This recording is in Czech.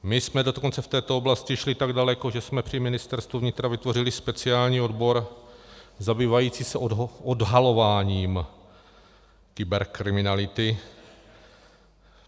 My jsme dokonce v této oblasti šli tak daleko, že jsme při Ministerstvu vnitra vytvořili speciální odbor zabývající se odhalováním kyberkriminality.